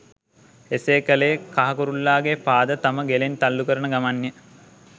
එසේ කළේ කහ කුරුල්ලාගේ පාද තම ගෙලෙන් තල්ලු කරන ගමන් ය.